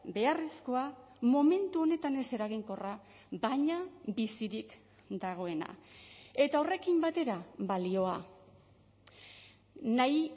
beharrezkoa momentu honetan ez eraginkorra baina bizirik dagoena eta horrekin batera balioa nahi